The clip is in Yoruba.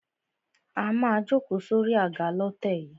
A má a jókòó sórí àga lọ́tẹ̀ yìí.